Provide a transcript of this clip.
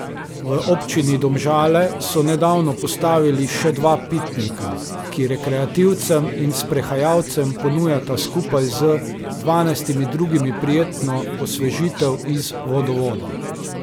V občini Domžale so nedavno postavili še dva pitnika, ki rekreativcem in sprehajalcem ponujata skupaj z dvanajstimi drugimi prijetno osvežitev iz vodovoda.